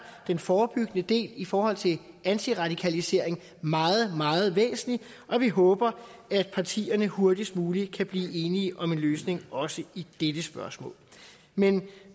den forebyggende del i forhold til antiradikalisering meget meget væsentlig og vi håber at partierne hurtigst muligt kan blive enige om en løsning også i dette spørgsmål men